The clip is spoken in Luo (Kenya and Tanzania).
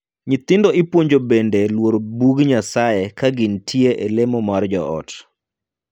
Nyithindo ipuonjo bende luoro Bug Nyasaye ka gintie e lemo mar joot.